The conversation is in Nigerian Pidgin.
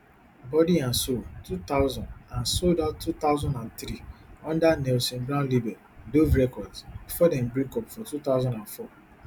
body and soul two thousand and sold out two thousand and three under nelson brown label dove records bifor dem breakup for two thousand and four